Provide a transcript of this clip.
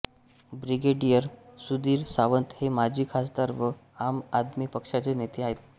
brigadier Sudhir Sawant हे माजी खासदार व आम आदमी पक्षाचे नेते आहेत